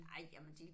Ej jamen de